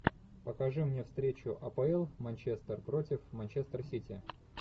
покажи мне встречу апл манчестер против манчестер сити